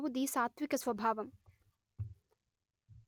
ఆవుది సాత్త్విక స్వభావం